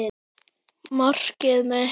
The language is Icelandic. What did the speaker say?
Markið mitt?